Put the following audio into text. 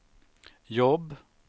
jobb